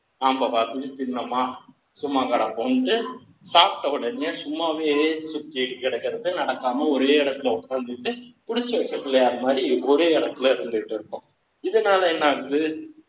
நாம பாட்டுக்கு தின்னுமா சும்மா கிடப்போம் சாப்பிட்ட உடனே சும்மாவே சுத்திட்டு கிடக்கிறது நடக்காம ஒரே இடத்தில் உட்காந்து கிட்டு புடிச்சு வச்ச பிள்ளையார் மாதிரி ஒரே இடத்தில் இருந்துட்டு இருக்கும்